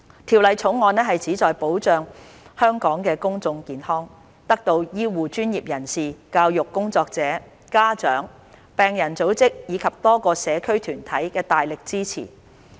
《條例草案》旨在保障香港的公眾健康，得到醫護專業人士、教育工作者、家長、病人組織及多個社區團體的大力支持。